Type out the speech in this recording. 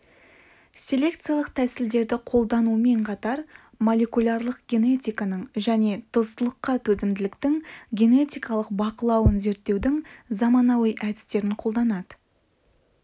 селекциялық тәсілдерді қолданумен қатар молекулярлық генетиканың және тұздылыққа төзімділіктің генетикалық бақылауын зерттеудің заманауи әдістерін қолданады